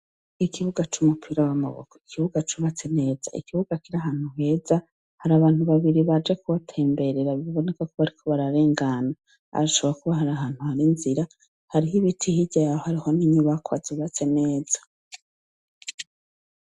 Ikibuga c'umupira w'amaboko, ikibuga cubatse neza, ikibuga kiri ahantu heza, hari abantu babiri baje kuwutemberera biboneka ko bariko bararengana. Hashobora kuba hari ahantu hari inzira. Hariho ibiti hirya hariho n'inyubakwa zubatse neza.